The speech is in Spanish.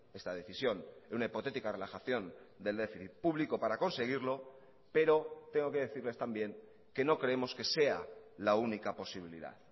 esta decisión en una hipotética relajación del déficit público para conseguirlo pero tengo que decirles también que no creemos que sea la única posibilidad